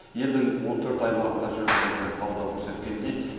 елдің он төрт аймағында жүргізілген талдау көрсеткендей